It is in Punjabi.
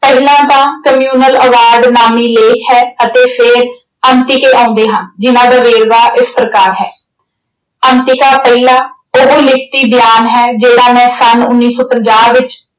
ਪਹਿਲਾਂ ਤਾਂ communal ਆਵਾਜ਼ ਨਾਮੀ ਲੇਖ ਹੈ ਅਤੇ ਫਿਰ ਅੰਕਿਤੇ ਆਉਂਦੇ ਹਨ। ਜਿੰਨ੍ਹਾ ਦਾ ਵੇਰਵਾ ਇਸ ਪ੍ਰਕਾਰ ਹੈ, ਅੰਕਿਤਾ ਪਹਿਲਾ ਉਹ ਲਿਖਤੀ ਬਿਆਨ ਹੈ ਜਿਹੜਾ ਮੈਂ ਸੰਨ ਉਨੀ ਸੌ ਪੰਜਾਹ ਵਿੱਚ